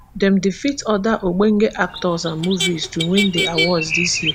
dem defeat oda ogbonge actors and movies to win di awards dis year